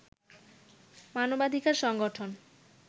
মানবাধিকার সংগঠন